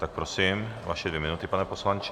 Tak prosím, vaše dvě minuty, pane poslanče.